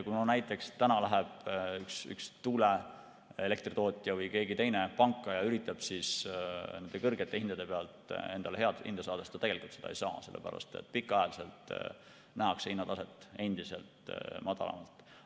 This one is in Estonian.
Kui näiteks täna läheb tuuleelektritootja või keegi teine panka ja üritab nende kõrgete hindade pealt endale head hinda saada, siis ta seda ei saa, sest pikaajaliselt nähakse hinnataset endiselt madalamalt.